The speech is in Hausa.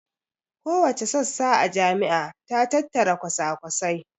Kowace sassa a jami'a ta tattari kwasakwasai